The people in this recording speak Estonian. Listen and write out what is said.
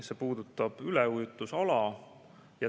See puudutab üleujutusala.